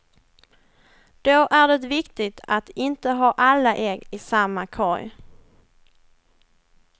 Då är det viktigt att inte ha alla ägg i samma korg.